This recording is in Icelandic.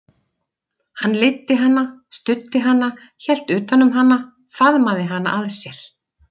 Hann leiddi hana, studdi hana, hélt utan um hana, faðmaði hana að sér.